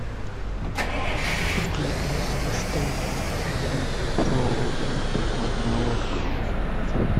сергей эйзенштейн фильм про подводную лодку